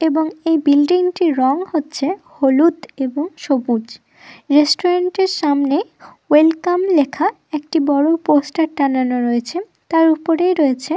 এবং এই বিল্ডিং -টি রং হচ্ছে হলুদ এবং সবুজ। রেস্টুরেন্ট -এর সামনে ওয়েলকাম লেখা একটি বড় পোস্টার টানানো রয়েছে। তার উপরেই রয়েছে--